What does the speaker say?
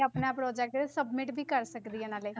ਆਪਣਾ project submit ਵੀ ਕਰ ਸਕਦੀ ਹਾਂ ਨਾਲੇ।